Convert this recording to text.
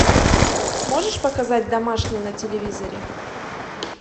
можешь показать домашний на телевизоре